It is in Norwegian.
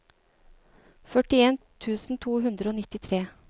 førtien tusen to hundre og nittitre